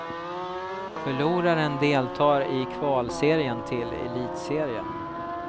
Förloraren deltar i kvalserien till elitserien.